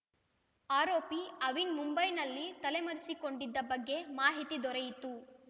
ಆರೋಪಿ ಅವಿನ್‌ ಮುಂಬೈನಲ್ಲಿ ತಲೆಮರೆಸಿಕೊಂಡಿದ್ದ ಬಗ್ಗೆ ಮಾಹಿತಿ ದೊರೆಯಿತು